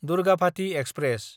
Durgavati express